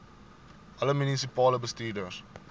alle munisipale bestuurders